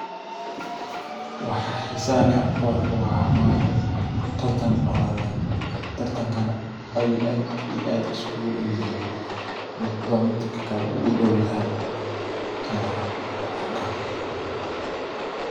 Waxa xiisaha leh aan kuarko waxa waye tartan orodheedh tartanka neh in aad iyo aad iskugudowyahay midhba midhka kale udowyahay ayan kuarka